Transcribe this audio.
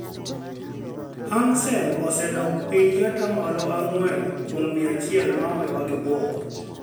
Hang Seng osedok piny gi ata malo ang'wen kuom mia achiel ma owewa gi buok